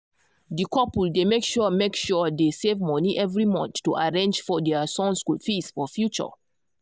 di couple dey make sure make sure they save money every month to arrange for their son school fees for future.